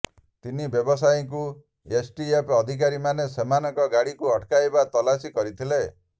ତିନି ବ୍ୟବସାୟୀଙ୍କୁ ଏସଟିଏଫ ଅଧିକାରୀ ମାନେ ସେମାନଙ୍କ ଗାଡିକୁ ଅଟକାଇବା ତଲାସି କରିଥିଲେ